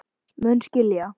Mun skilja.